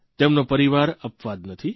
તેમનો પરિવાર અપવાદ નથી